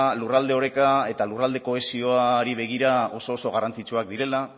lurralde oreka eta lurralde kohesioari begira oso oso garrantzitsuak direla